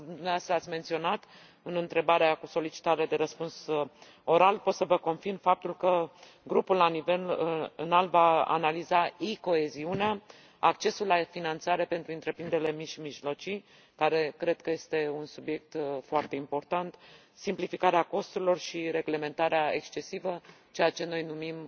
După cum dumneavoastră ați menționat în întrebarea cu solicitare de răspuns oral, pot să vă confirm faptul că grupul la nivel înalt va analiza e coeziunea, accesul la finanțare pentru întreprinderile mici și mijlocii, care cred că este un subiect foarte important, simplificarea costurilor și reglementarea excesivă, ceea ce noi numim